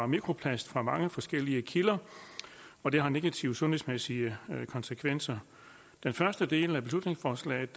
mikroplast fra mange forskellige kilder og det har negative sundhedsmæssige konsekvenser den første del af beslutningsforslaget